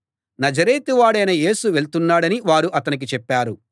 నజరేతు వాడైన యేసు వెళ్తున్నాడని వారు అతనికి చెప్పారు